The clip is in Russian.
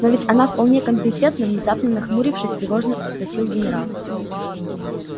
но ведь она вполне компетентна внезапно нахмурившись тревожно спросил генерал